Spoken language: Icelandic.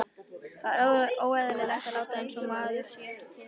Það er óeðlilegt að láta einsog maður sé ekki til.